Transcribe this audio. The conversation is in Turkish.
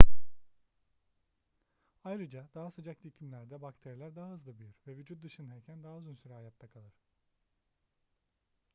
ayrıca daha sıcak iklimlerde bakteriler daha hızlı büyür ve vücut dışındayken daha uzun süre hayatta kalır